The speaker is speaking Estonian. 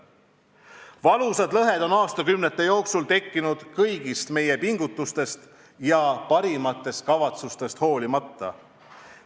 Valusad lõhed on aastakümnete jooksul tekkinud kõigist meie pingutustest ja parimatest kavatsustest hoolimata.